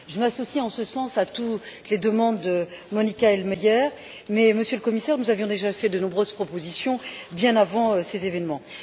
Je m'associe en ce sens à toutes les demandes de Monika Hohlmeier, mais, Monsieur le Commissaire, nous avions déjà fait de nombreuses propositions bien avant ces événements.